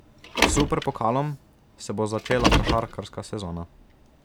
S superpokalom se bo začela košarkarska sezona.